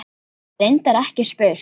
Hef reyndar ekki spurt.